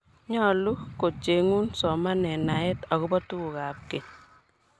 nyoluu kuchengu somanee naee akobo tukuk ab keny